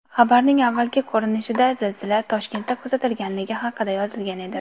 Xabarning avvalgi ko‘rinishida zilzila Toshkentda kuzatilganligi haqida yozilgan edi.